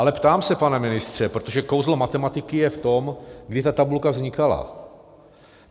Ale ptám se, pane ministře, protože kouzlo matematiky je v tom, kdy ta tabulka vznikala.